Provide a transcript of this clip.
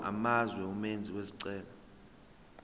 amazwe umenzi wesicelo